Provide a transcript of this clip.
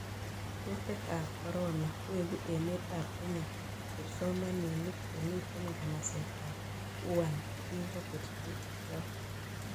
Kutik ab corona; Wegu emet ab Kenya kipsomaniik chemiten nganaset ab Wuhan chekokerchi yuton